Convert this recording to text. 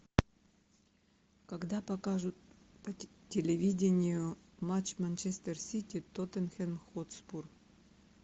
когда покажут по телевидению матч манчестер сити тоттенхэм хотспур